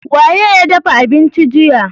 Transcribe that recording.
Wa ye ya dafa abincin jiya?